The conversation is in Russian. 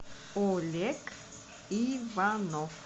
олег иванов